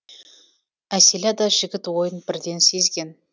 әсила да жігіт ойын бірден сезген